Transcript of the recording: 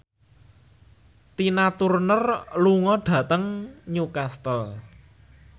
Tina Turner lunga dhateng Newcastle